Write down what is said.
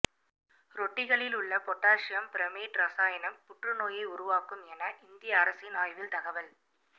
ரொட்டிகளில் உள்ள potassium bromate ரசாயனம் புற்று நோயை உருவாக்கும் என இந்திய அரசின் ஆய்வில் தகவல்